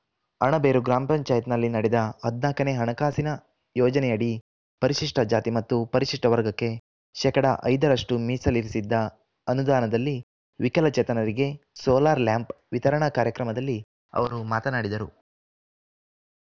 ಅಣಬೇರು ಗ್ರಾಮ ಪಂಚಾಯತ್ ನಲ್ಲಿ ನಡೆದ ಹದಿನಾಲ್ಕನೇ ಹಣಕಾಸಿನ ಯೋಜನೆಯಡಿ ಪರಿಶಿಷ್ಟಜಾತಿ ಮತ್ತು ಪರಿಶಿಷ್ಟವರ್ಗಕ್ಕೆ ಶೇಕಡಾ ಐದರಷ್ಟುಮೀಸಲಿರಿಸಿದ್ದ ಅನುದಾನದಲ್ಲಿ ವಿಕಲಚೇತನರಿಗೆ ಸೋಲಾರ್‌ ಲ್ಯಾಂಪ್‌ ವಿತರಣಾ ಕಾರ್ಯಕ್ರಮದಲ್ಲಿ ಅವರು ಮಾತನಾಡಿದರು